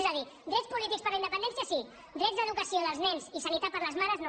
és a dir drets polítics per a la independència sí drets d’educació dels nens i sanitat per a les mares no